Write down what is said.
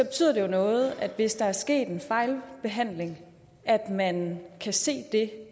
betyder det jo noget hvis der er sket en fejlbehandling at man kan se det